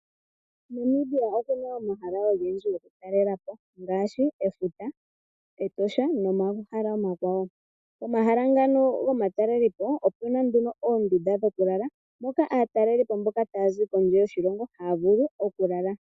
Namibia okuna omahala ogendji gokutalelapo ngaashi efuta, Etosha nomahala omakwawo, omahala ngano gomatalelepo opena nduno oondunda dhoku lala moka aatalelipo mboka taazi kondje yoshilongo haavulu oku lala.